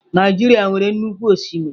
Naijiria nwere nnukwu osimiri.